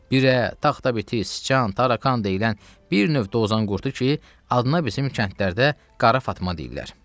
Birə, taxta biti, siçan, tərəkan deyilən bir növ dozan qurdu ki, adına bizim kəndlərdə qara fatma deyirlər.